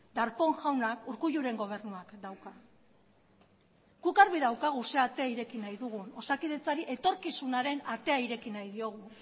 darpón jauna urkulluren gobernuak dauka guk argi daukagu zein ate ireki nahi dugun osakidetzari etorkizunaren atea ireki nahi diogu